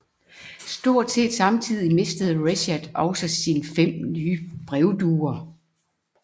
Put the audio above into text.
Stort set samtidigt mistede Reshat også sine fem nye brevduer